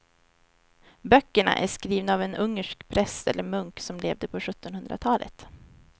Böckerna är skrivna av en ungersk präst eller munk som levde på sjuttonhundratalet.